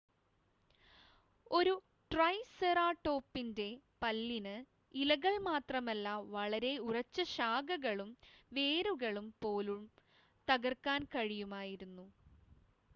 ഒരു ട്രൈസെറാടോപ്പിൻ്റെ പല്ലിന് ഇലകൾ മാത്രമല്ല വളരെ ഉറച്ച ശാഖകളും വേരുകളും പോലും തകർക്കാൻ കഴിയുമായിരുന്നു